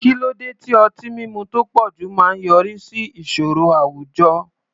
Kí ló dé tí ọtí mímu tó pọ̀jù máa ń yọrí sí ìṣòro àwùjọ?